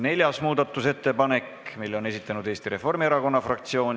Neljanda muudatusettepaneku on esitanud Eesti Reformierakonna fraktsioon.